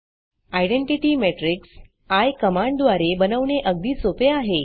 identity matrix eye कमांडद्वारे बनवणे अगदी सोपे आहे